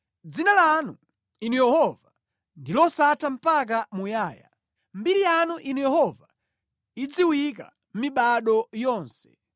Dzina lanu, Inu Yehova, ndi losatha mpaka muyaya, mbiri yanu, Inu Yehova, idziwika mibado yonse.